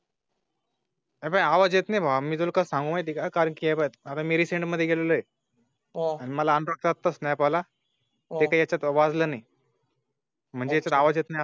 आवाज येत नाही मग मी तुला सांगू माहिती का? कारण की आहे आता मी सेट मध्ये गेलेले आहे. आवाज येत नाही मग मी तुला सांगू माहिती का? कारण की आहे आता मी सेट मध्ये गेलेले आहे.